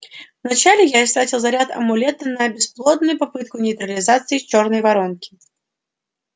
вначале я истратил заряд амулета на бесплодную попытку нейтрализации с чёрной воронки